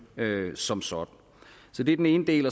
som sådan så det er den ene del